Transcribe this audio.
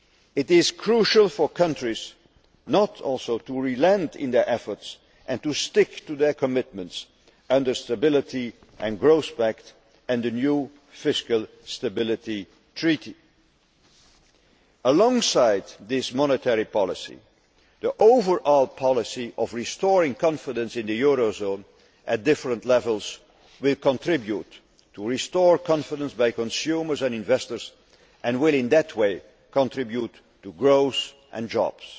It is crucial for countries also not to relent in their efforts and to stick to their commitments under the Stability and Growth Pact and the new Fiscal Stability Treaty. Alongside this monetary policy, the overall policy of restoring confidence in the euro area at different levels will contribute to restored confidence by consumers and investors and will in that way contribute to growth and